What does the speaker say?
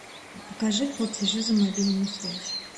покажи платежи за мобильную связь